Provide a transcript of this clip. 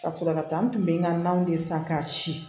Ka sɔrɔ ka taa n tun bɛ n ka naw de san k'a si